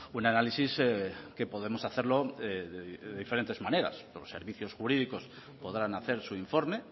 un análisis que podemos hacerlo de diferentes maneras los servicios jurídicos podrán hacer su informe